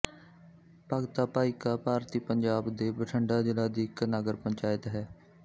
ਭਗਤਾ ਭਾਈ ਕਾ ਭਾਰਤੀ ਪੰਜਾਬ ਭਾਰਤ ਦੇ ਬਠਿੰਡਾ ਜ਼ਿਲ੍ਹਾ ਦੀ ਇੱਕ ਨਗਰ ਪੰਚਾਇਤ ਹੈ